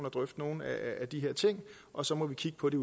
og drøfte nogle af de her ting og så må vi kigge på det